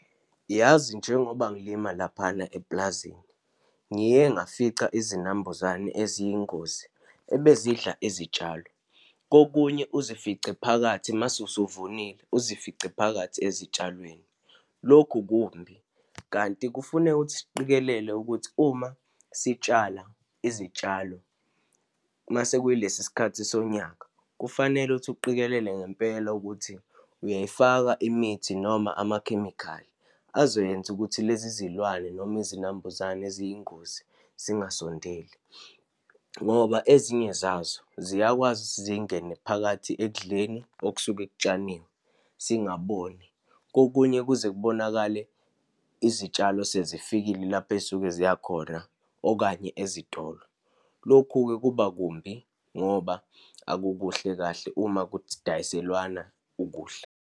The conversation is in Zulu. Yazi, njengoba ngilima laphana epulazini, ngiye ngafica izinambuzane eziyingozi ebezidla izitshalo. Kokunye uzifice phakathi, uma usevunile, uzifice phakathi ezitshalweni, lokhu kumbi. Kanti kufuneka ukuthi siqikelele ukuthi uma sitshala izitshalo, uma sekuyilesi sikhathi sonyaka, kufanele ukuthi uqikelele ngempela ukuthi uyayifaka imithi, noma amakhemikhali azoyenza ukuthi lezi zilwane, noma izinambuzane eziyingozi zingasondeli, ngoba ezinye zazo ziyakwazi ukuthi zingene phakathi ekudleni okusuke kutshaniwe, singaboni. Kokunye kuze kubonakale izitshalo sezifikile lapho ey'suke ziyakhona, okanye ezitolo. Lokhu-ke kuba kumbi ngoba akukuhle kahle uma kudayiselanwa ukudla.